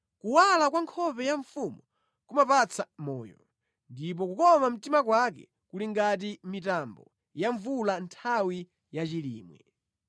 Kuwala kwa nkhope ya mfumu kumapatsa moyo; ndipo kukoma mtima kwake kuli ngati mitambo ya mvula nthawi ya chilimwe.